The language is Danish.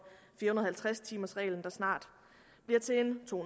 fire hundrede og halvtreds timers reglen der snart bliver til en to